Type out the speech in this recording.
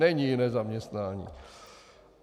Není jiné zaměstnání.